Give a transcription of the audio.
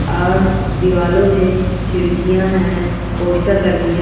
और दीवालों मेंखिड़-कियां हैं पोस्टर लगी हैं।